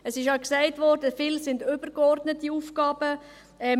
Es wurde gesagt, dass viele davon übergeordnete Aufgaben seien.